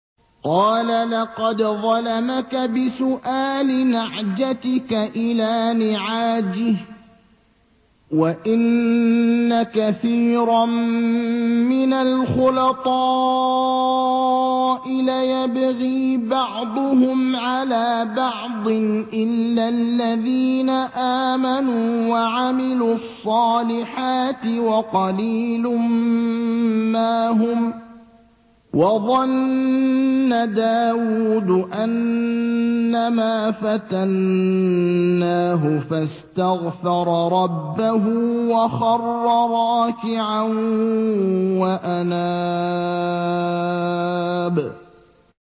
قَالَ لَقَدْ ظَلَمَكَ بِسُؤَالِ نَعْجَتِكَ إِلَىٰ نِعَاجِهِ ۖ وَإِنَّ كَثِيرًا مِّنَ الْخُلَطَاءِ لَيَبْغِي بَعْضُهُمْ عَلَىٰ بَعْضٍ إِلَّا الَّذِينَ آمَنُوا وَعَمِلُوا الصَّالِحَاتِ وَقَلِيلٌ مَّا هُمْ ۗ وَظَنَّ دَاوُودُ أَنَّمَا فَتَنَّاهُ فَاسْتَغْفَرَ رَبَّهُ وَخَرَّ رَاكِعًا وَأَنَابَ ۩